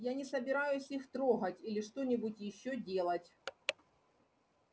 я не собираюсь их трогать или что-нибудь ещё делать